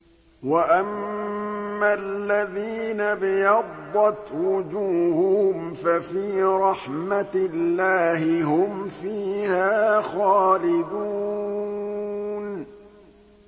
وَأَمَّا الَّذِينَ ابْيَضَّتْ وُجُوهُهُمْ فَفِي رَحْمَةِ اللَّهِ هُمْ فِيهَا خَالِدُونَ